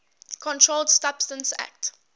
controlled substances acte